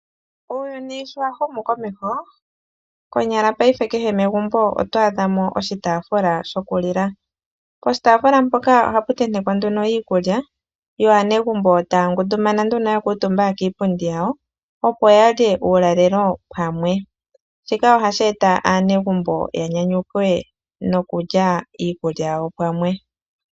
Uuyuni sho wa humu komeho konyala ngaashingeyi kehe megumbo oto adha mo oshitaafula sho kulila. Poshitaafula mpoka ohapu tentekwa nduno iikulya yo aanegumbo taya ngundumana nduno ya kuutumba kiipundi yawo opo ya lye uulalelo pamwe. Shika ohashi eta aanegumbo ya nyanyukwe noku lya iikulya yawo pamwe.